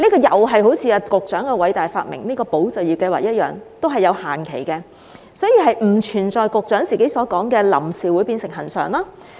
與局長的偉大發明"保就業"計劃一樣，這項津貼也有限期，因此不存在局長所提到的"臨時"會變成"恆常"。